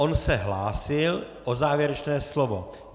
On se hlásil o závěrečné slovo.